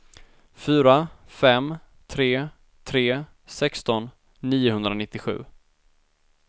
fyra fem tre tre sexton niohundranittiosju